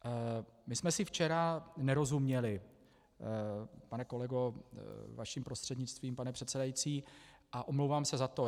My jsme si včera nerozuměli, pane kolego, vaším prostřednictvím, pane předsedající, a omlouvám se na to.